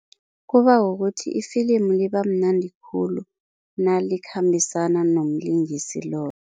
Kuba kukuthi ifilimu libamnandi khulu nalikhambisana nomlingisi loyo.